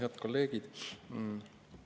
Head kolleegid!